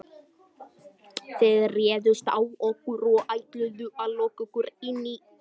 Þið réðust á okkur og ætluðuð að loka okkur inni.